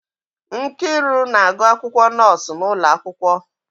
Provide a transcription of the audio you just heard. Nkiru na-agụ akwụkwọ nọọsụ n'ụlọ akwụkwọ